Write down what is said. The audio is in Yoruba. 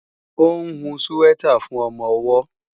Ó ń hun síwẹ́tà fún ọmọ-ọwọ́